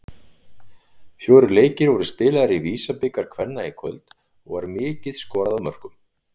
Fjórir leikir voru spilaðir í VISA-bikar kvenna í kvöld og var mikið skorað af mörkum.